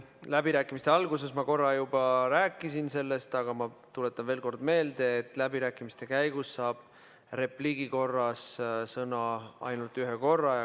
Läbirääkimiste alguses ma korra juba rääkisin sellest, aga ma tuletan veel kord meelde, et läbirääkimiste käigus saab repliigi korras sõna ainult ühe korra.